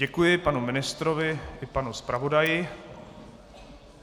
Děkuji panu ministrovi i panu zpravodaji.